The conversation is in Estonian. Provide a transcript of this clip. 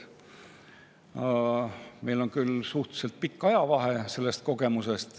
Meie nendel kogemustel on küll suhteliselt pikk ajavahe.